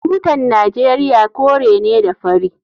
Tutan Najeriya kore ne da fari.